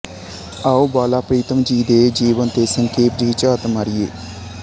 ਆਓ ਬਾਲਾ ਪ੍ਰੀਤਮ ਜੀ ਦੇ ਜੀਵਨ ਤੇ ਸੰਖੇਪ ਜਿਹੀ ਝਾਤ ਮਾਰੀਏ